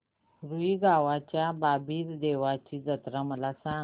रुई गावच्या बाबीर देवाची जत्रा मला सांग